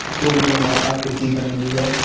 गोल नवा आकृति बनी हुई है।